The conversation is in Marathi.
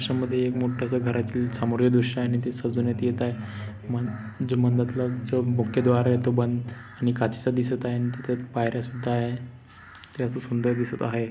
ह्याच्या मध्ये एक मोठस घरातील समोरील दृश्य आहे आणि ते सजवण्यात येत आहे जो मन जो मंधाताला तो मुख्य द्वार तो बंद आणि काचेचा दिसत आहे अन तिथे पायर्‍या सुद्धा आहे ते अस सुंदर दिसत आहे.